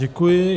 Děkuji.